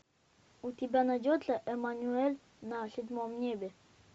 у тебя найдется эммануэль на седьмом небе